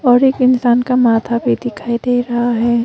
और एक इंसान का माथा भी दिखाई दे रहा है।